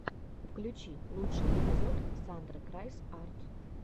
включи лучший эпизод сандры крайс арт